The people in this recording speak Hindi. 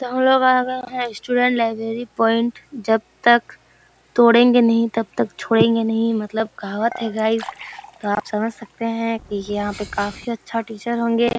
तो हम लोग आ गए है स्टूडेंट लाईब्रेरी पोइंट जब तक तोड़ेंगे नही तब तक छोड़ेंगे नहीं मतलब कहावत है गाइज तो आप समझ सकते हैं यहाँ पे काफी अच्छा टीचर होंगे।